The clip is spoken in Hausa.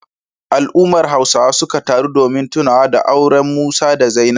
Al'ummar Hausawa suka taru domin tunawa da auren Musa da Zainab.